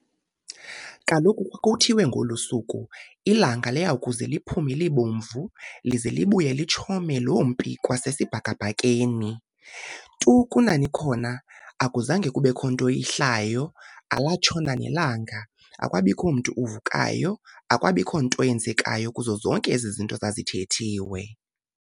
Kaloku kwakuthiwe ngolu suku, ilanga liyakuze liphume libomvu, lize libuye litshome lompi kwasesibhakabhakeni. Tu kunani khona akuzange kubekho nto ihlayo, alatshona nelanga, akwabikho mntu uvukayo, akwabikho nto yenzekayo kuzo zonke ezo zinto zazithethiwe.